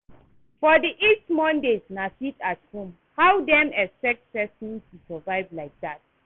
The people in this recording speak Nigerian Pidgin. For the east Mondays na sit-at-home, how dem expect person to survive like dat?